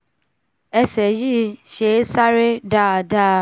ẹsẹ̀ yìí ṣé é sáré dáadáa